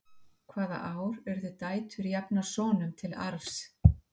hvaða ár urðu dætur jafnar sonum til arfs